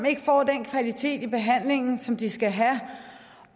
ikke får den kvalitet i behandlingen som de skal have